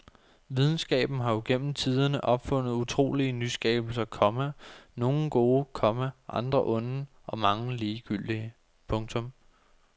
Videnskaben har jo gennem tiderne opfundet utrolige nyskabelser, komma nogle gode, komma andre onde og mange ligegyldige. punktum